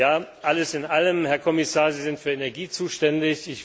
Ja, alles in allem, Herr Kommissar, Sie sind für Energie zuständig.